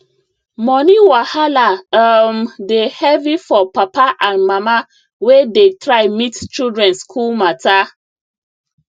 money wahala um dey heavy for papa and mama wey dey try meet children school matter